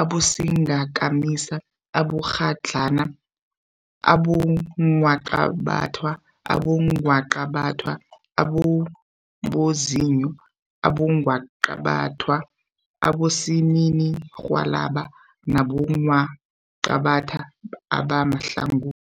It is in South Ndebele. abosingakamisa, abomakghadlana, abongwaqabathwa, abongwaqabathwa ababozinyo, abongwaqabathwa abosininirhwalabha nabongwaqabathwa abahlangothi.